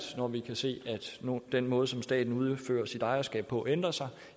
når vi kan se at den måde som staten udfører sit ejerskab på ændrer sig